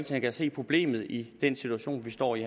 der kan se problemet i den situation vi står i